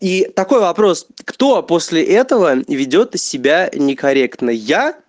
и такой вопрос кто после этого ведёт себя некорректно я